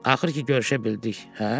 Axır ki görüşə bildik, hə?